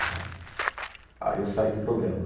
rádio. Aí eu saí do programa.